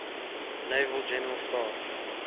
naval general staff